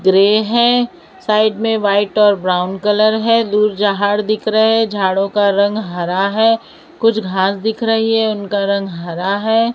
Grey हैं side में white और ब्राउन कलर है दूर झाड़ दिख रहा है झाड़ों का रंग हरा है कुछ घास दिख रही है उनका रंग हरा है।